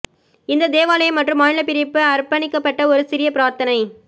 இந்த தேவாலயம் மற்றும் மாநில பிரிப்பு அர்ப்பணிக்கப்பட்ட ஒரு சிறிய பிரார்த்தனை